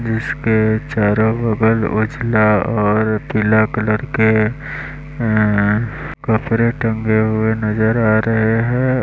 उसके चारो बगल उजला और पीला कलर के अह कपड़े टंगे हुए नजर आ रहे हैं।